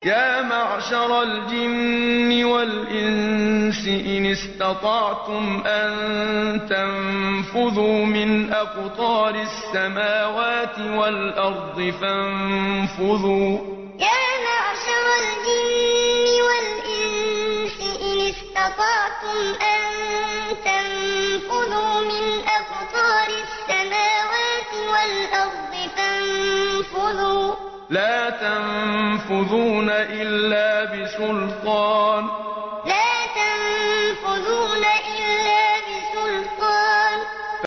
يَا مَعْشَرَ الْجِنِّ وَالْإِنسِ إِنِ اسْتَطَعْتُمْ أَن تَنفُذُوا مِنْ أَقْطَارِ السَّمَاوَاتِ وَالْأَرْضِ فَانفُذُوا ۚ لَا تَنفُذُونَ إِلَّا بِسُلْطَانٍ يَا مَعْشَرَ الْجِنِّ وَالْإِنسِ إِنِ اسْتَطَعْتُمْ أَن تَنفُذُوا مِنْ أَقْطَارِ السَّمَاوَاتِ وَالْأَرْضِ فَانفُذُوا ۚ لَا تَنفُذُونَ إِلَّا بِسُلْطَانٍ